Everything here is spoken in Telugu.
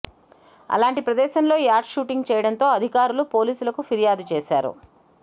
అలాంటి ప్రదేశంలో యాడ్ షూటింగ్ చేయడంతో అధికారులు పోలీసులకు ఫిర్యాదు చేశారు